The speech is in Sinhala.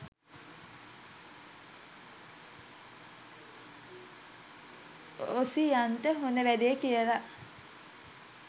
ඔසියන්ට හොඳ වැඩේ කියලා